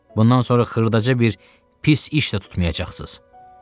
Bundan sonra xırdaca bir pis iş də tutmayacaqsınız.